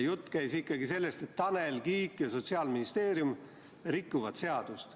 Jutt käis sellest, et Tanel Kiik ja Sotsiaalministeerium rikuvad seadust.